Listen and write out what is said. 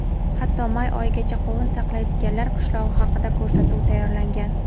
hatto may oyigacha qovun saqlaydiganlar qishlog‘i haqida ko‘rsatuv tayyorlagan.